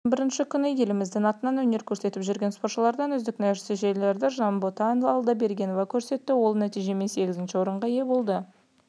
жарыстың бірінші күні еліміздің атынан өнер көрсетіп жүрген спортшылардан үздік нәтижені жанбота алдабергенова көрсетті ол нәтижемен сегізінші орынға ие болды